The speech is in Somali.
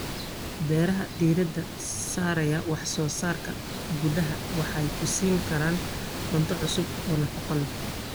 Beeraha diiradda saaraya wax soo saarka gudaha waxay ku siin karaan cunto cusub oo nafaqo leh.